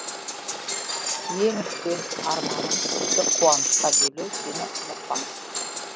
ең үлкен арманым сізді қуанышқа бөлеу сені ұмытпаңыз